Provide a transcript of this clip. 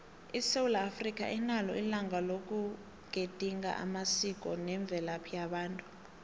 isewula africa inalo ilanga loku gedinga amasiko nemvelaphi yabantu